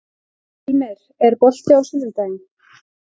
Hilmir, er bolti á sunnudaginn?